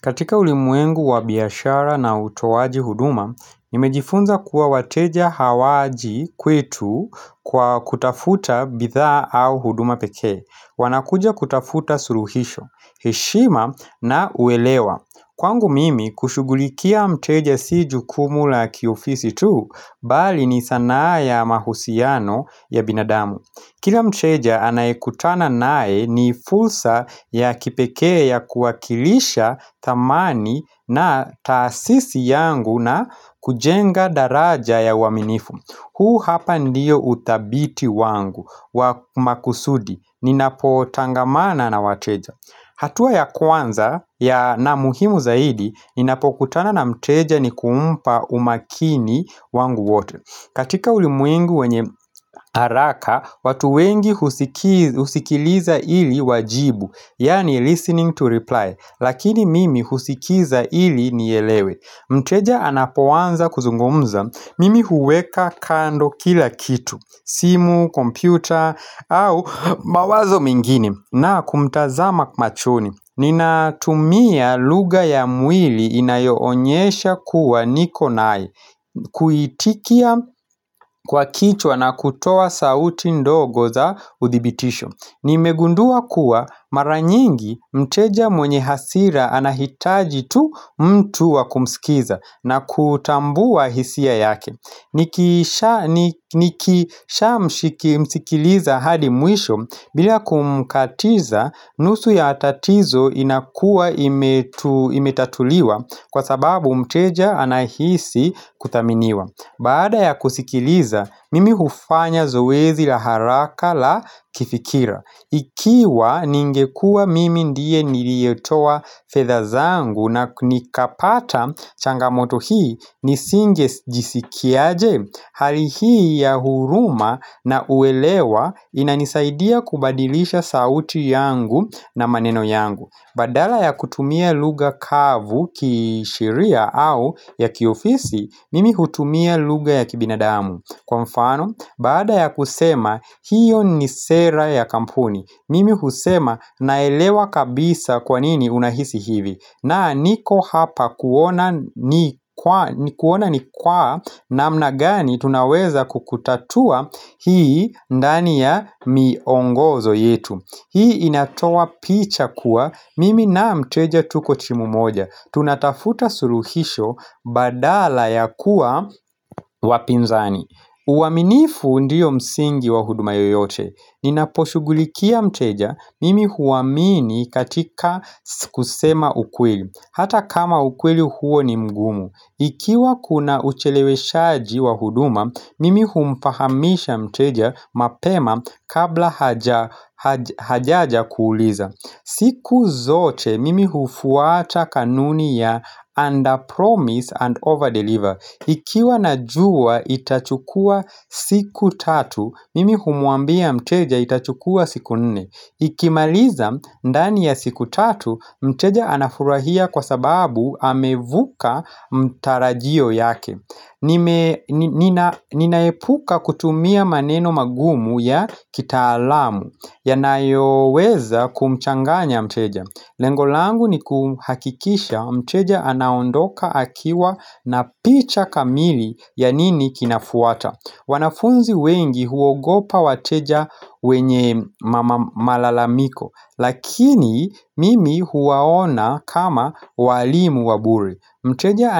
Katika ulimwengu wa biashara na utoaji huduma nimejifunza kuwa wateja hawaji kwetu kwa kutafuta bidhaa au huduma pekee wanakuja kutafuta suluhisho heshima na uelewa Kwangu mimi kushughulikia mteja si jukumu la kiofisi tu bali ni sanaa ya mahusiano ya binadamu Kila mteja anayekutana naye ni fursa ya kipekee ya kuwakilisha thamani na taasisi yangu na kujenga daraja ya uaminifu huu hapa ndio uthabiti wangu wa makusudi ninapotangamana na wateja hatua ya kwanza ya na muhimu zaidi ninapokutana na mteja ni kumpa umakini wangu wote katika ulimwengu wenye haraka watu wengi husikiliza ili wajibu yaani listening to reply lakini mimi husikiza ili nielewe Mteja anapoanza kuzungumza mimi huweka kando kila kitu simu kompyuta au mawazo mengine na kumtazama machoni ninatumia lugha ya mwili inayoonyesha kuwa niko naye Kuitikia kwa kichwa na kutoa sauti ndogo za udhibitisho nimegundua kuwa mara nyingi mteja mwenye hasira anahitaji tu mtu wakumsikiza na kutambua hisia yake nikisha msikiliza hadi mwisho bila kumkatiza nusu ya tatizo inakuwa imetu imetatuliwa kwa sababu mteja anahisi kuthaminiwa baada ya kusikiliza mimi hufanya zoezi la haraka la kifikira Ikiwa ningekuwa mimi ndiye niliyetoa fedha zangu na nikapata changamoto hii nisingejisikiaje Hali hii ya huruma na uelewa inanisaidia kubadilisha sauti yangu na maneno yangu badala ya kutumia lugha kavu kisheria au ya kiofisi mimi hutumia lugha ya kibinadamu Kwa mfano baada ya kusema hiyo ni sera ya kampuni Mimi husema naelewa kabisa kwa nini unahisi hivi na niko hapa kuona kuona ni kwa namna gani tunaweza kukutatua hii ndani ya miongozo yetu hii inatoa picha kuwa mimi na mteja tuko timu moja tunatafuta suluhisho badala ya kuwa wapinzani uaminifu ndio msingi wa huduma yoyote ninaposhugulikia mteja mimi huamini katika kusema ukweli hata kama ukweli huo ni mgumu ikiwa kuna ucheleweshaji wa huduma mimi humfahamisha mteja mapema kabla hajaja kuuliza siku zote mimi hufuata kanuni ya under promise and over deliver ikiwa najua itachukua siku tatu mimi humwambia mteja itachukua siku nne ikimaliza ndani ya siku tatu mteja anafurahia kwa sababu amevuka mtarajio yake Ninaepuka kutumia maneno magumu ya kitaalamu yanayoweza kumchanganya mteja Lengo langu ni kuhakikisha mteja anaondoka akiwa na picha kamili ya nini kinafuata wanafunzi wengi huogopa wateja wenye malalamiko lakini mimi huwaona kama walimu wa bure mteja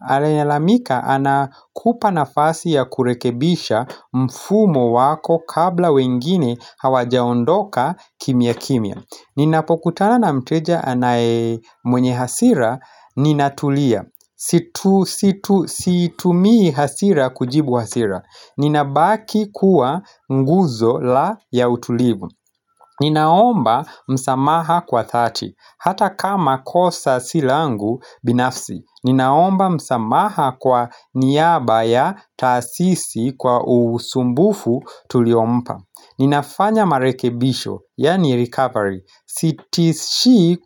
anayelalamika ana kupa nafasi ya kurekebisha mfumo wako kabla wengine hawajaondoka kimya kimya ninapokutana na mteja anaye mwenye hasira, ninatulia. Siitumii hasira kujibu hasira Ninabaki kuwa nguzo la ya utulivu Ninaomba msamaha kwa dhati Hata kama kosa si langu binafsi Ninaomba msamaha kwa niaba ya taasisi kwa usumbufu tuliompa Ninafanya marekebisho yaani recovery sitishii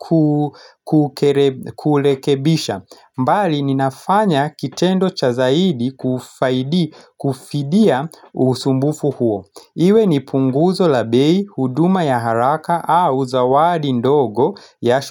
kurekebisha mbali ninafanya kitendo cha zaidi kufaidi kufidia usumbufu huo iwe ni punguzo la bei huduma ya haraka au zawadi ndogo ya.